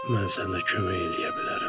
mən sənə kömək eləyə bilərəm.